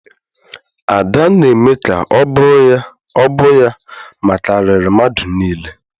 Ada na-eme ka ọ bụ ya makariri mmadụ niile.